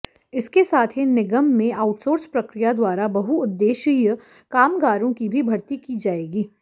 इसके साथ ही निगम में आउटसोर्स प्रक्रिया द्वारा बहुउद्देश्यीय कामगारों की भी भर्ती की जाएगी